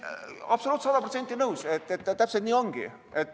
Absoluutselt, sada protsenti nõus, täpselt nii ongi.